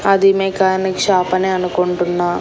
అది mechanic shop అనే అనుకుంటున్నా.